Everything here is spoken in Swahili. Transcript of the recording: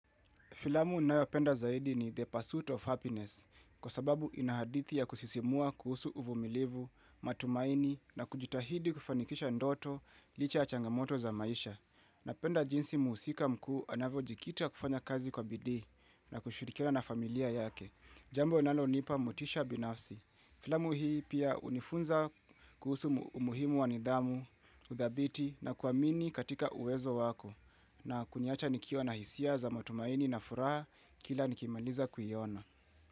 Filamu unayopenda zaidi ni the Pursuit of Happiness, kwa sababu ina hadithi ya kusisimua kuhusu uvumilivu, matumaini na kujitahidi kufanikisha ndoto, licha ya changamoto za maisha. Napenda jinsi muhusika mkuu anavyojikita kufanya kazi kwa bidii na kushirikiana na familia yake. Jambo linapo nipamotisha binafsi. Filamu hii pia unifunza kuhusu umuhimu wa nidhamu, udhabiti na kuamini katika uwezo wako. Na kuniacha nikio na hisia za matumaini na furaha kila nikimaliza kuiona.